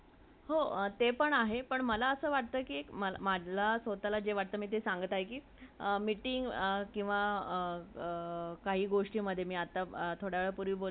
हा तार्किक विषय आहे. दुसरा उपवर्ग रसायनशास्त्र आहे.